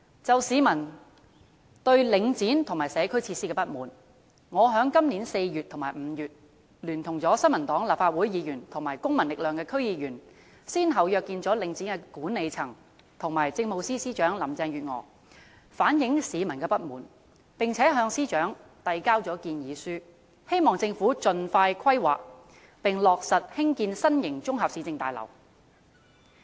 就市民對領展和社區設施的不滿，我在今年4月和5月，聯同新民黨的立法會議員和公民力量的區議員，先後約見了領展的管理層和政務司司長林鄭月娥，反映市民的不滿，並向司長遞交建議書，希望政府盡快規劃及落實興建新型綜合市政大樓。